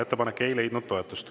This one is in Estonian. Ettepanek ei leidnud toetust.